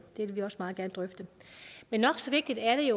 det vil vi også meget gerne drøfte men nok så vigtigt er det